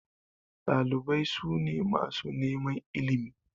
Ɗalibai su ne masu neman ilimi.